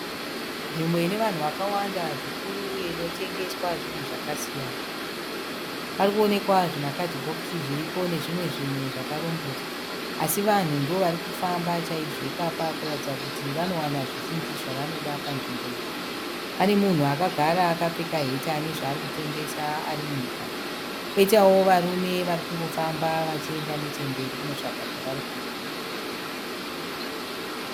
Nzvimbo ine vanhu vakawanda zvikuru uye inotengeswa zvinhu zvakasiyana. Pari kuonekwa zvimakadhibhokisi zviripo nezvimwe zvinhu zvakarongedzwa . Asi vanhu ndivo vari kufamba chaizvo ipapa kuratidza kuti vanowana zvavanoda panzvimbo iyi. Pane munhu akagara akapfeka heti ane zvaari kutengesa ari munhukadzi. Poitawo varume vari kufamba vachienda nechemberi kunotsvaga zvavari kuda.